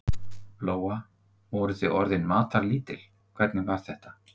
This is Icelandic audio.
Lóa: Voruð þið orðin matarlítil, hvernig var þetta?